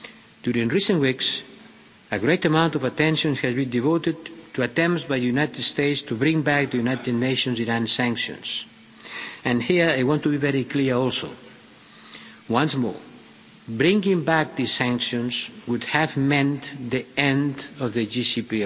During recent weeks, a great amount of attention has been devoted to attempts by United States to bring back the United Nations Iran sanctions, and here I want to be very clear also. Once more bringing back these sanctions would have meant the end of the